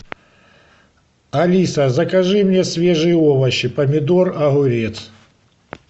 алиса закажи мне свежие овощи помидор огурец